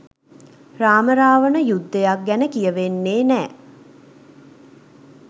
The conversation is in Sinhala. රාම රාවණ යුද්ධයක් ගැන කියවෙන්නේ නැ.